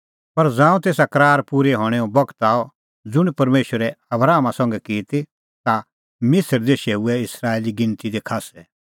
पर ज़ांऊं तेसा करार पूरै हणैंओ बगत आअ ज़ुंण परमेशरै आबरामा संघै की ती ता मिसर देशै हुऐ इस्राएली गिणती दी खास्सै